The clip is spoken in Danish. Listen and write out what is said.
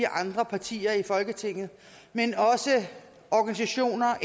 andre partier i folketinget men også organisationer